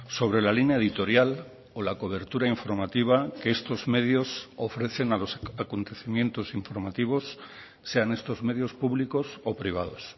sobre la línea editorial o la cobertura informativa que estos medios ofrecen a los acontecimientos informativos sean estos medios públicos o privados